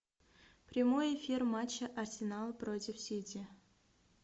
прямой эфир матча арсенал против сити